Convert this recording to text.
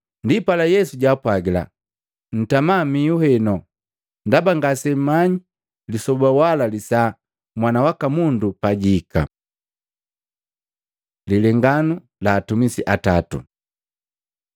Ndipala Yesu jwaapwagila, “Ntama mihu heno, ndaba ngasemmanyi lisoba wala lisaa Mwana waka Mundu pajihika.” Lilenganu la atumisi atatu Luka 19:11-27